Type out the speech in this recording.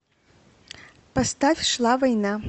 поставь шла война